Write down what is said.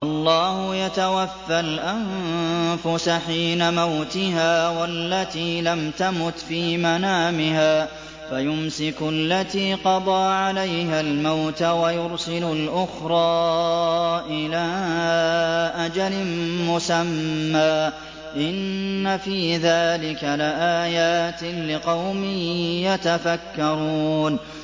اللَّهُ يَتَوَفَّى الْأَنفُسَ حِينَ مَوْتِهَا وَالَّتِي لَمْ تَمُتْ فِي مَنَامِهَا ۖ فَيُمْسِكُ الَّتِي قَضَىٰ عَلَيْهَا الْمَوْتَ وَيُرْسِلُ الْأُخْرَىٰ إِلَىٰ أَجَلٍ مُّسَمًّى ۚ إِنَّ فِي ذَٰلِكَ لَآيَاتٍ لِّقَوْمٍ يَتَفَكَّرُونَ